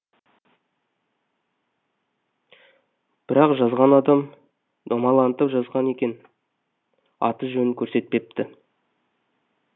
бірақ жазған адам домалантып жазған екен аты жөнін көрсетпепті